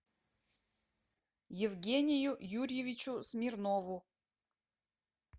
евгению юрьевичу смирнову